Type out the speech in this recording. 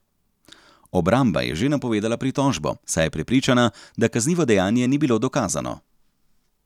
Obramba je že napovedala pritožbo, saj je prepričana, da kaznivo dejanje ni bilo dokazano.